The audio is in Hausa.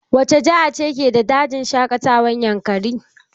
Wace jihar ce ke da dajin shaƙatawar yankari?